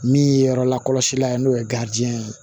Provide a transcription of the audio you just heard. Min ye yɔrɔ lakɔlɔsilan ye n'o ye ye